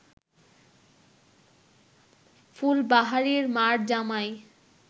ফুলবাহারির মা’র জামাই